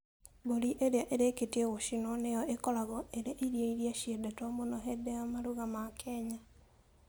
Mbũri ĩrĩa ĩrĩkĩtie gũcinwo nĩyo ĩkoragwo ĩrĩ irio iria ciendetwo mũno hĩndĩ ya maruga ma Kenya.